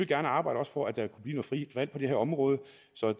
gerne arbejde for at der kunne blive noget frit valg på det her område